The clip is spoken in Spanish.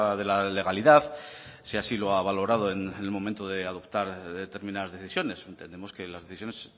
de la legalidad si así lo ha valorado en el momento de adoptar determinadas decisiones entendemos que las decisiones